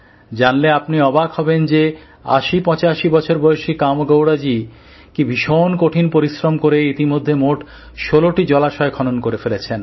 জানলে আপনি অবাক হবেন যে ৮০৮৫ বছর বয়সী কামেগৌড়াজি কী ভীষণ কঠিন পরিশ্রম করে ইতিমধ্যে মোট ১৬টি জলাশয় খনন করে ফেলেছেন